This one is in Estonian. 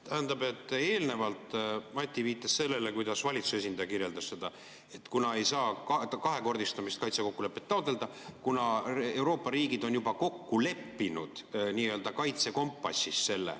Tähendab, eelnevalt Mati viitas sellele, kuidas valitsuse esindaja kirjeldas seda, et ei saa taotleda kaitse kahekordistamist, kuna Euroopa riigid on selle juba kokku leppinud nii‑öelda kaitsekompassis.